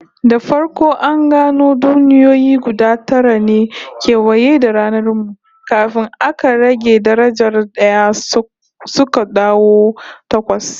Da farko an gano duniyoyi guda tara ne kewaye da ranar mu, kafin aka rage darajar d'aya suka dawo takwas